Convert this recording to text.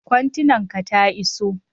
kontenan ka ta iso?